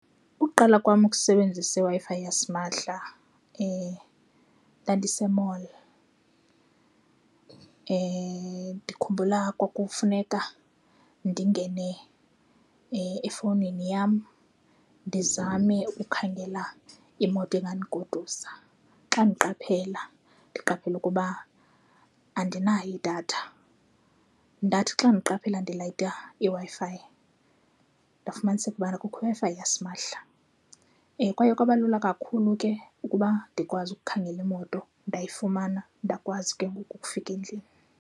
Ukuqala kwam ukusebenzisa iWi-Fi yasimahla ndandise mall. Ndikhumbula kwakufuneka ndingene efowunini yam ndizame ukukhangela imoto engandigodusa. Xa ndiqaphela, ndiqaphele ukuba andinayo idatha. Ndathi xa ndiqaphela ndilayita iWi-Fi ndafumaniseke ubana kukho iWi-Fi yasimahla. Kwaye kwaba lula kakhulu ke ukuba ndikwazi ukukhangela imoto ndayifumana, ndakwazi ke ngoku ukufika endlini.